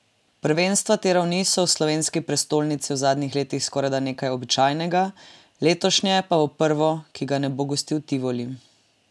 Prvenstva te ravni so v slovenski prestolnici v zadnjih letih skorajda nekaj običajnega, letošnje pa bo prvo, ki ga ne bo gostil Tivoli.